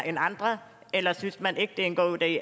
end andre eller synes man ikke det er en god idé